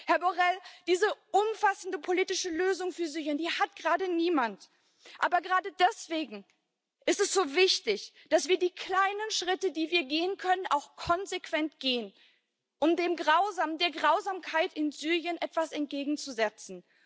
Herr Borrell, diese umfassende politische Lösung für Syrien, die hat gerade niemand. Aber gerade deswegen ist es so wichtig, dass wir die kleinen Schritte, die wir gehen können, auch konsequent gehen, um der Grausamkeit in Syrien etwas entgegenzusetzen.